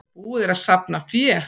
Búið er að safna fé.